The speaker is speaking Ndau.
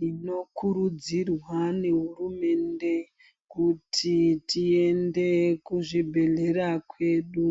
Tinokurudzirwa nehurumende kuti tiende kuzvibhehlera kwedu